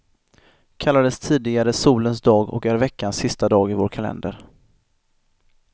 Kallades tidigare solens dag och är veckans sista dag i vår kalender.